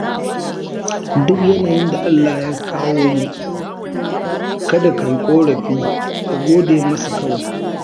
Duk yanayin da Allah ya kawo mu, kada ka yi ƙorafi ka gode masa kawai.